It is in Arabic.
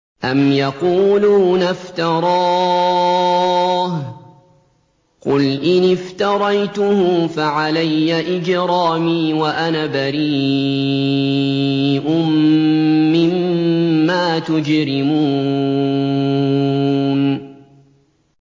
أَمْ يَقُولُونَ افْتَرَاهُ ۖ قُلْ إِنِ افْتَرَيْتُهُ فَعَلَيَّ إِجْرَامِي وَأَنَا بَرِيءٌ مِّمَّا تُجْرِمُونَ